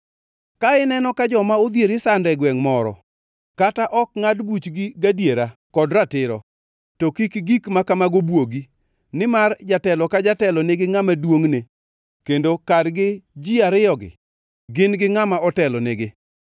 Ka ineno ka joma odhier isando e gwengʼ moro, kata ok ngʼad buchgi gadiera kod ratiro, to kik gik ma kamago bwogi; nimar jatelo ka jatelo nigi ngʼama duongʼne kendo kargi ji ariyogi gin gi ngʼama otelonegi.